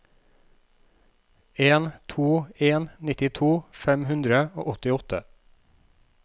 en to to en nittito fem hundre og åttiåtte